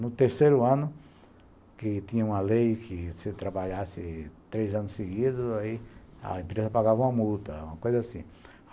No terceiro ano, que tinha uma lei que se trabalhasse três anos seguidos, aí a empresa pagava uma multa, uma coisa assim.